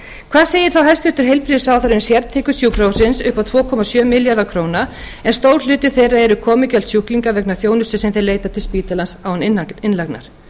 hvað segir þá hæstvirtur heilbrigðisráðherra um sértekjur sjúkrahússins upp á tvö komma sjö milljarða króna en stór hluti þeirra eru komugjöld sjúklinga vegna þjónustu sem þeir sem leita á spítalanum án innlagnar